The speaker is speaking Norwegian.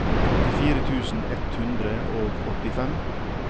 åttifire tusen ett hundre og åttifem